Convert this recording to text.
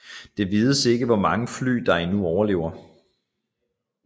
Det vides ikke hvor mange fly der endnu overlever